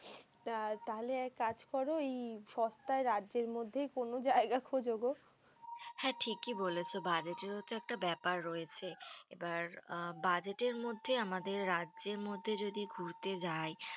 তা তাহলে এক কাজ করো, এই সস্তায় রাজ্যের মধ্যেই কোনো জায়গা খোঁজো গো। হ্যাঁ ঠিকই বলেছো। budget এরও তো একটা ব্যাপার রয়েছে। এবার আ budget এর মধ্যে আমাদের রাজ্যের মধ্যে যদি ঘুরতে যাই